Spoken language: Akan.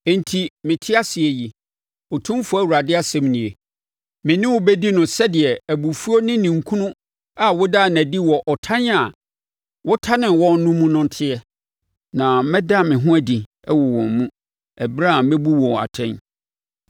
enti, sɛ mete ase yi, Otumfoɔ Awurade asɛm nie, me ne wo bɛdi no sɛdeɛ abufuo ne ninkunu a wodaa no adi wɔ ɔtan a wotanee wɔn no mu no teɛ, na mɛda me ho adi wɔ wɔn mu, ɛberɛ a mɛbu wo atɛn.